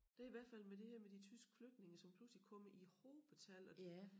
Det i hvert fald med det her med de tyske flygtninge som pludselig kommer i hobetal og de